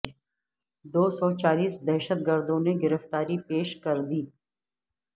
دو سو چالیس دہشت گردوں نے گرفتاری پیش کر دی